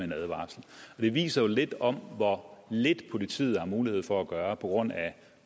en advarsel det viser jo lidt om hvor lidt politiet har mulighed for at gøre på grund af